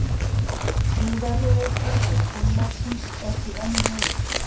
Trúverðugleiki fyrirkomulagsins er því enn meiri